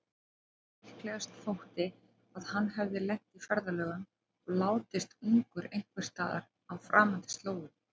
Líklegast þótti að hann hefði lent í ferðalögum og látist ungur einhversstaðar á framandi slóðum.